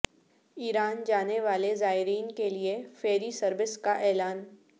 ایران جانے والے زائرین کے لیے فیری سروس کا اعلان